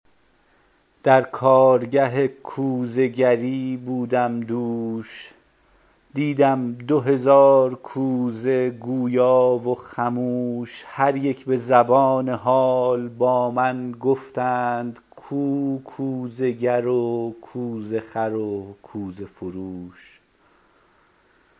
در کارگه کوزه گری بودم دوش دیدم دو هزار کوزه گویا و خموش هر یک به زبان حال با من گفتند کو کوزه گر و کوزه خر و کوزه فروش